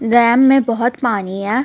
RAM में बहोत पानी है.